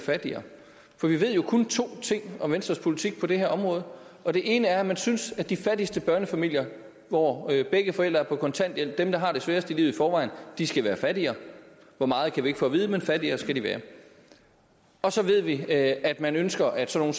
fattigere for vi ved jo kun to ting om venstres politik på det her område og det ene er at man synes at de fattigste børnefamilier hvor begge forældre er på kontanthjælp dem der har det sværest i forvejen skal være fattigere hvor meget kan vi ikke få at vide men fattigere skal de være og så ved vi at at man ønsker at sådan